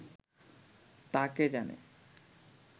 তা কে জানে